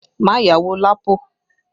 Má yáwó Lapo!